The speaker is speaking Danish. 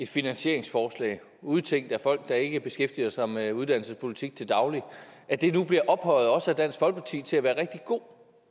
finansieringsforslag udtænkt af folk der ikke beskæftiger sig med uddannelsespolitik til daglig nu bliver ophøjet også af dansk folkeparti til at være rigtig god